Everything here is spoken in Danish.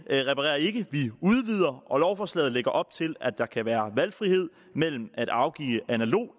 reparerer ikke vi udvider og lovforslaget lægger op til at der kan være valgfrihed mellem at afgive analog